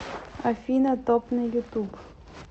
афина топ на ютуб